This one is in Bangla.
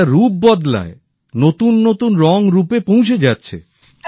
এটা রূপ বদলায় নতুন নতুন রংরূপে পৌঁছে যাচ্ছে